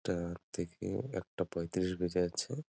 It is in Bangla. এটা দেখে একটা পয়ত্রিশ বোঝা যাচ্ছে ।